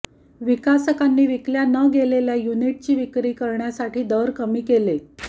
विकसकांनी विकल्या न गेलेल्या युनिटची विक्री करण्यासाठी दर कमी केले